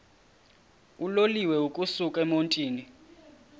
uloliwe ukusuk emontini